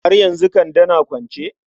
Har yanzu Kande na kwance?